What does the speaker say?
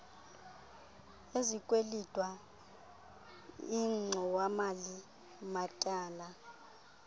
ezikwelitwa ingxowamali matyala